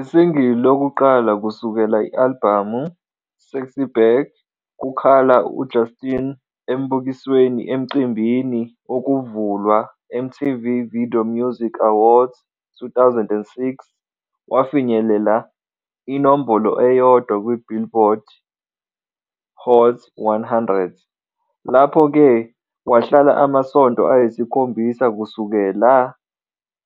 I single yokuqala kusukela albhamu, "SexyBack", kukhala Justin embukisweni emcimbini wokuvulwa MTV Video Music Awards 2006 wafinyelela inombolo eyodwa kwi Billboard Hot 100, lapho-ke wahlala amasonto ayisikhombisa kusukela